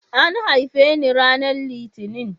An haife ni ranar Litinin.